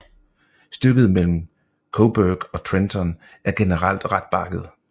Stykket mellem Cobourg og Trenton er generelt ret bakket